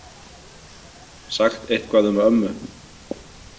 Sagt eitthvað um ömmu.